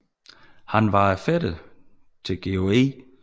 Han var fætter til George E